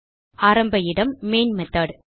ஆரம்ப இடம் main method